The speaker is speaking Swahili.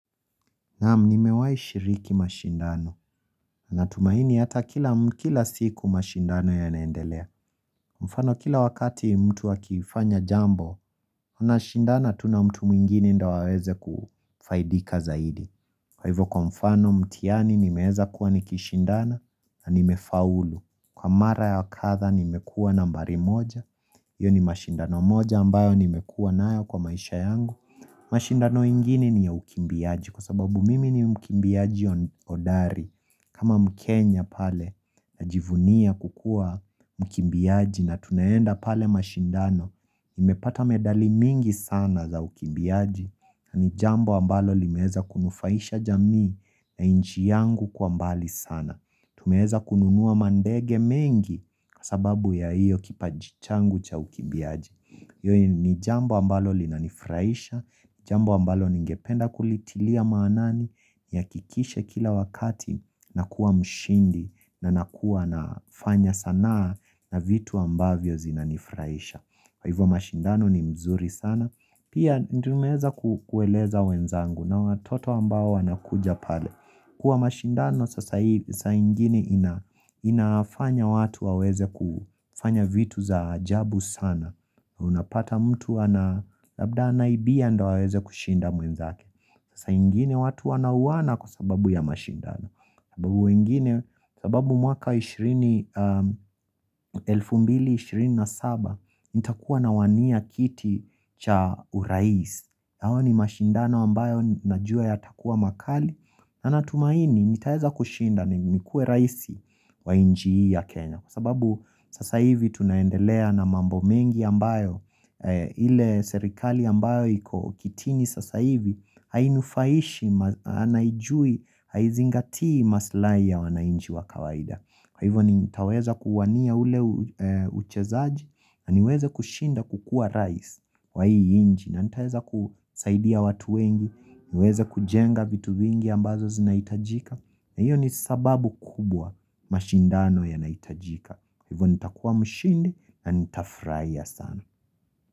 Naam nimewahi shiriki mashindano na tumaini hata kila siku mashindano yanaendelea mfano kila wakati mtu akifanya jambo Tunashindana tu na mtu mwingine ndo aweze kufaidika zaidi Kwa hivyo kwa mfano mtihani nimeweza kuwa nikishindana na nimefaulu Kwa mara ya wakadha nimekuwa nambari moja hiyo ni mashindano moja ambayo nimekuwa nayo kwa maisha yangu mashindano ingini ni ya ukimbiaji kwa sababu mimi ni mkimbiaji hodari kama mkenya pale najivunia kukuwa mkimbiaji na tunaenda pale mashindano nimepata medali mingi sana za ukimbiaji na ni jambo ambalo limeweza kunufaisha jamii na inchi yangu kwa mbali sana. Tumeweza kununua mandege mengi kwa sababu ya hiyo kipaji changu cha ukimbiaji hiyo ni jambo ambalo linanifurahisha Jambo ambalo ningependa kulitilia maanani Nihakikishe kila wakati nakuwa mshindi na nakua nafanya sana na vitu ambavyo zinanifurahisha kwa ivo mashindano ni mzuri sana Pia tumeweza kueleza wenzangu na watoto ambao wanakuja pale Kwa mashindano saa ingini inafanya watu waweze kufanya vitu za jabu sana Unapata mtu ana labda anaibia ndo aweze kushinda mwenzake saa ingini watu wanauana kwa sababu ya mashindano sababu mwaka 2027 nitakuwa nawania kiti cha urais hayo ni mashindano ambayo najua yatakuwa makali na natumaini, nitaeza kushinda ni nikuwe raisi wa nchi hii ya Kenya Kwa sababu sasa hivi tunaendelea na mambo mengi ambayo ile serikali ambayo iko kitini sasa hivi Hainufaishi, haijui, haizingatii maslahi ya wanainchi wa kawaida Kwa hivo nitaweza kuwania ule uchezaji na niweze kushinda kukuwa rais wa hii nchi na nitaweza kusaidia watu wengi niweze kujenga vitu vingi ambazo zinahitajika na hiyo ni sababu kubwa mashindano yanahitajika Hivyo nitakuwa mshindi na nitafurahia sana.